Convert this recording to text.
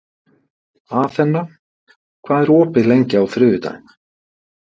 Athena, hvað er opið lengi á þriðjudaginn?